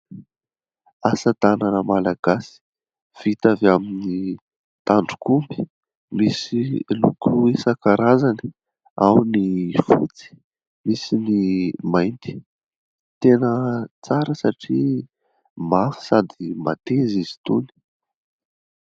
Asa tanana malagasy vita avy amin'ny tandrok'omby. Misy loko isan-karazany. Ao ny fotsy, misy ny mainty. Tena tsara satria mafy sady mateza izy itony.